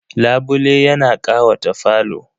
Labule yana ƙawata falo.